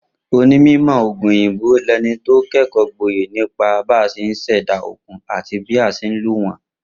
Onímò̩ ògùn òyìnbó lẹni tó ké̩kò̩ó̩ gboyè nípa bá s̩e ń s̩è̩dá ògùn àti bá s̩e ń lo wó̩n